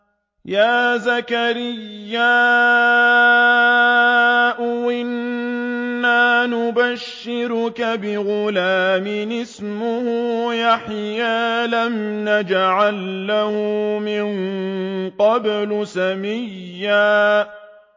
يَا زَكَرِيَّا إِنَّا نُبَشِّرُكَ بِغُلَامٍ اسْمُهُ يَحْيَىٰ لَمْ نَجْعَل لَّهُ مِن قَبْلُ سَمِيًّا